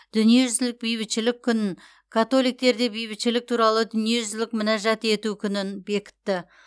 дүниежүзілік бейбітшілік күнін католиктерде бейбітшілік туралы дүниежүзілік мінәжат ету күнін бекітті